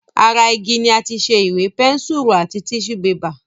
Ara igi ni àti ṣe Ìwé, pẹ́nsùrù àti tíṣù bébà